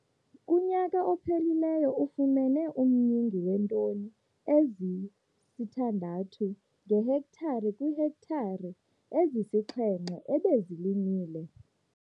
Kunyaka ophelileyo ufumene umyinge weetoni ezi-6 ngehektare kwiihektare ezisi-7 ebezilimile.